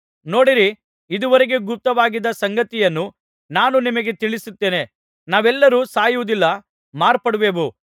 ನೋಡಿರಿ ಇದುವರೆಗೆ ಗುಪ್ತವಾಗಿದ್ದ ಸಂಗತಿಯನ್ನು ನಾನು ನಿಮಗೆ ತಿಳಿಸುತ್ತೇನೆ ನಾವೆಲ್ಲರೂ ಸಾಯುವುದಿಲ್ಲ ಮಾರ್ಪಡುವೆವು